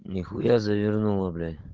нехуя завернула блядь